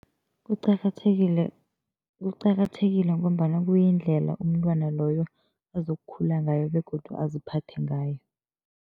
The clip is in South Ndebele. Kuqakathekile kuqakathekile ngombana kuyindlela umntwana loyo azokukhula ngayo begodu aziphathe ngayo.